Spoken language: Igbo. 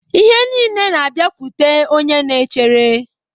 Ihe niile na-abịakwute onye na-echere